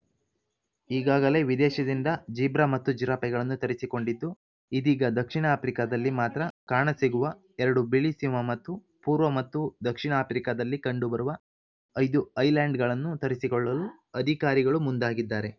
ಈಗಾಗಲೇ ವಿದೇಶದಿಂದ ಜಿಬ್ರಾ ಮತ್ತು ಜಿರಾಫೆಗಳನ್ನು ತರಿಸಿಕೊಂಡಿದ್ದು ಇದೀಗ ದಕ್ಷಿಣ ಆಫ್ರಿಕಾದಲ್ಲಿ ಮಾತ್ರ ಕಾಣ ಸಿಗುವ ಎರಡು ಬಿಳಿ ಸಿಂಹ ಮತ್ತು ಪೂರ್ವ ಮತ್ತು ದಕ್ಷಿಣ ಆಫ್ರಿಕಾದಲ್ಲಿ ಕಂಡು ಬರುವ ಐದು ಐಲ್ಯಾಂಡ್‌ ಗಳನ್ನು ತರಿಸಿಕೊಳ್ಳಲು ಅಧಿಕಾರಿಗಳು ಮುಂದಾಗಿದ್ದಾರೆ